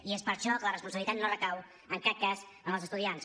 i és per això que la responsabilitat no recau en cap cas en els estudiants